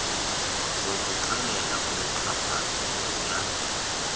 sokuxelela umxhaphazi ngomyalelo